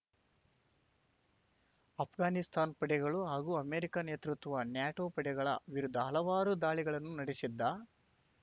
ಆಷ್ಘಾನಿಸ್ತಾನ್ ಪಡೆಗಳು ಹಾಗೂ ಅಮೆರಿಕ ನೇತೃತ್ವ ನ್ಯಾಟೋ ಪಡೆಗಳ ವಿರುದ್ಧ ಹಲವಾರು ದಾಳಿಗಳನ್ನು ನಡೆಸಿದ್ದ